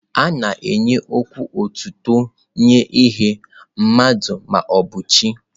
A na-ekwu okwu otuto nye ihe, mmadụ ma ọ bụ chi.